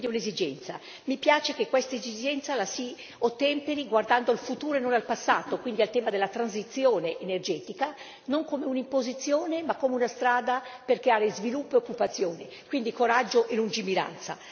Quindi un'esigenza mi piace che questa esigenza la si ottemperi guardando al futuro e non al passato, ossia al tema della transizione energetica non come un'imposizione ma come una strada per creare sviluppo e occupazione, quindi coraggio e lungimiranza.